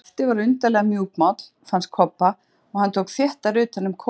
Skapti var undarlega mjúkmáll, fannst Kobba, og hann tók þéttar utan um kópinn.